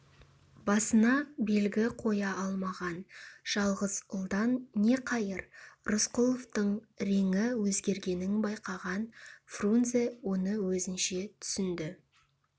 басына белгі қоя алмаған жалғыз ұлдан не қайыр рысқұловтың реңі өзгергенін байқаған фрунзе оны өзінше түсінді